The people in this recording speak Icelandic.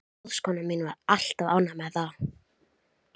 Ráðskonan mín var alltaf ánægð með það.